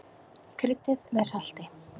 Kryddið með salti.